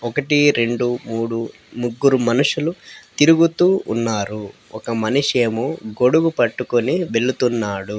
ఒకటి రెండు మూడు ముగ్గురు మనుషులు తిరుగుతూ ఉన్నారు ఒక మనిషేమో గొడుగు పట్టుకుని వెళుతున్నాడు.